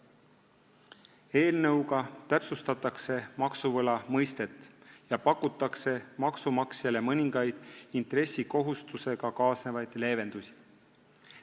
Eelnõuga täpsustatakse maksuvõla mõistet ja pakutakse maksumaksjale mõningaid intressikohustusega kaasnevaid leevendusi.